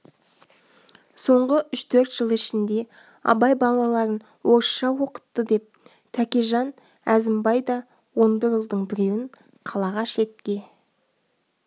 соңғы үш-төрт жыл ішінде абай балаларын орысша оқытты деп тәкежан әзімбай да он бір ұлдың біреуін қалаға шетке